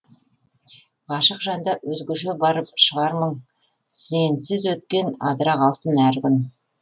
ғашық жанда өзгеше бар шығар мұң сенсіз өткен адыра қалсын әр күн